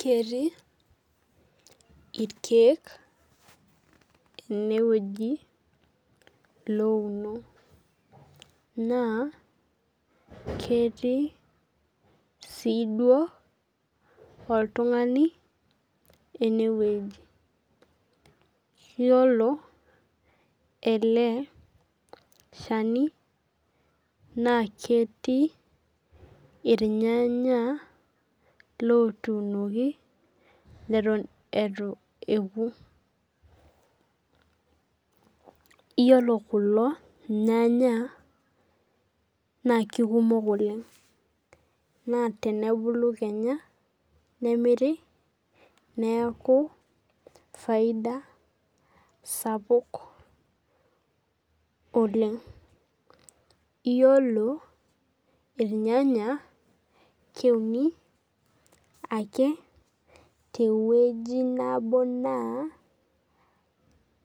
Ketiiirkiek enewueji louno na ketii siduo oltungani enewueji yiolo eleshani na ketii irnyanya lotuunoki neton itu eoku yiolo kulo nyanya na kekumok oleng na tenebulu kenya nemiri neaku faida sapuk oleng yiolo irnyanya kwuni ake tewueji nabo na